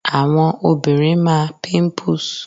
Àwọn obìnrin máa píńpùs